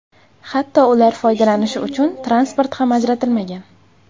Hatto ular foydalanishi uchun transport ham ajratilmagan.